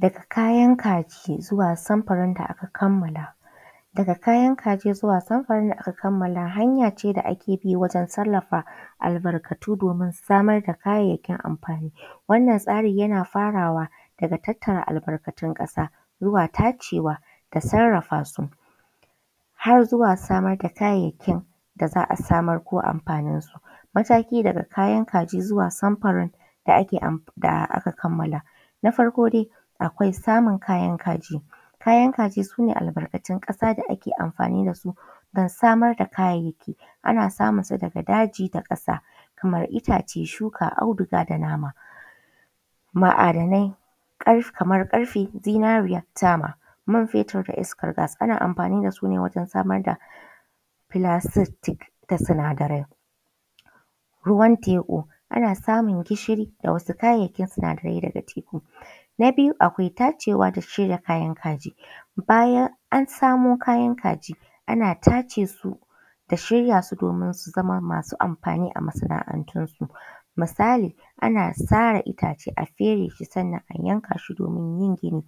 Daga kayan kaji zuwa samfarin da aka kammala. Daga kayan kaji zuwa samfarin da aka kammala hanya ce da ake bi wajen tallafa albarkatu domin samar da kayayyakin amfani. Wannan tsari yana fara wa daga tattara albarkatun ƙasa zuwa tacewa da sarrafa su har zuwa samar da kayayyakin da za a samar ko amfanin sa. Mataki daga kayan kaji zuwa samfarin da ake am da aka kammala. Na farko daiakwai samun kayan kaji: Kayan kaji su ne albarkatun ƙasa da ake amfani da su don samar da kayayyaki, ana samun su daga daji da ƙasa kamar itace, shuka, auduga da nama. Ma’adanai kamar ƙarfe, zinariya, tama, man fetur da iskar gas ana amfani da su ne wajen samar da plastic da sinadarai. Ruwan teku: Ana samun gishiri, da wasu kayayyakin sinadarai daga teku. Na biyu akwai tacewa da shirya kayan kaji: Bayan an samo kayan kaji ana tace su da shirya su domin su zama masu amfani a masana’antun su misali ana sare itace a fere su sannan a yanka su domin yin gini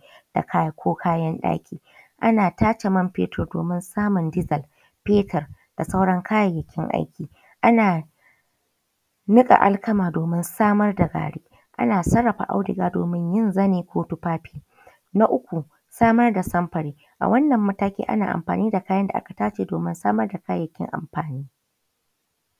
ko kayan ɗaki. Ana tace man fetir domin samun desel, petir da sauran kayayyakin aiki. Ana niƙa alkama domin samar da gari. Ana sarrafa auduga domin yin zani ko tufafi. Na uku samar da samfari, a wannan mataki ana amfani da kayan da aka tace domin a samar da kayayyakin amfani.